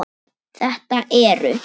Þetta eru